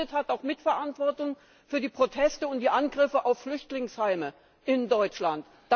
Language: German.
Wer so redet, hat auch Mitverantwortung für die Proteste und die Angriffe auf Flüchtlingsheime in Deutschland.